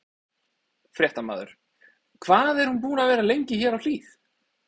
Fréttamaður: Hvað er hún búin að vera lengi hér á Hlíð?